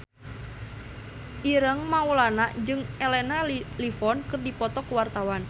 Ireng Maulana jeung Elena Levon keur dipoto ku wartawan